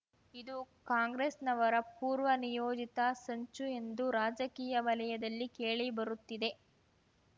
ಇದು ಕಾಂಗ್ರೆಸ್‍ನವರ ಪೂರ್ವ ನಿಯೋಜಿತ ಸಂಚು ಎಂದು ರಾಜಕೀಯ ವಲಯದಲ್ಲಿ ಕೇಳಿಬರುತ್ತಿದೆ